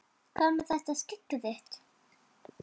Hvað með þetta skegg þitt.